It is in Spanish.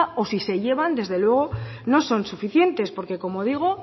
o si se llevan desde luego no son suficiente porque como digo